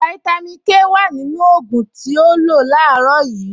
Fáítámì Ké wà nínú ògùn tí o lò láàárọ̀ yìí